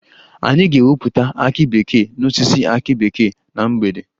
Anyị ga-ewepụta akị bekee n'osisi akị bekee na mgbede